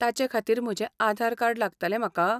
ताचेखातीर म्हजें आधार कार्ड लागतलें म्हाका?